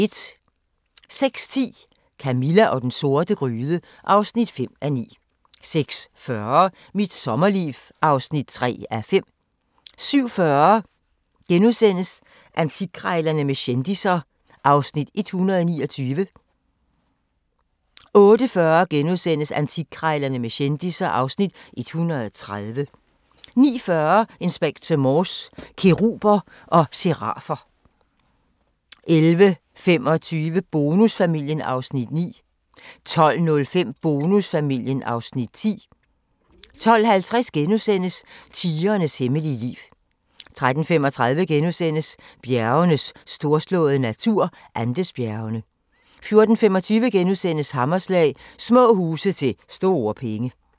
06:10: Camilla og den sorte gryde (5:9) 06:40: Mit sommerliv (3:5) 07:40: Antikkrejlerne med kendisser (Afs. 129)* 08:40: Antikkrejlerne med kendisser (Afs. 130)* 09:40: Inspector Morse: Keruber og serafer 11:25: Bonusfamilien (Afs. 9) 12:05: Bonusfamilien (Afs. 10) 12:50: Tigerens hemmelige liv * 13:35: Bjergenes storslåede natur – Andesbjergene * 14:25: Hammerslag – Små huse til store penge *